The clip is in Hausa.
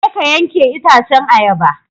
Je ka yanke itacen ayaba!